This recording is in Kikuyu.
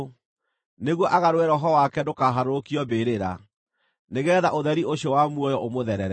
nĩguo agarũre roho wake ndũkaharũrũkio mbĩrĩra, nĩgeetha ũtheri ũcio wa muoyo ũmũtherere.